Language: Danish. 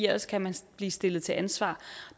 ellers kan man blive stillet til ansvar